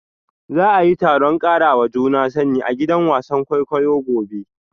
Za a yi taron karawa juna sani a gidan wasan kwaikwayo gobe